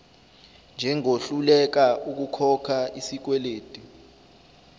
njengohluleka ukukhokha isikweledu